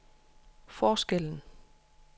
forskellen